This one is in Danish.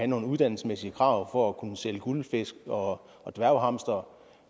nogle uddannelsesmæssige krav for at kunne sælge guldfisk og dværghamstere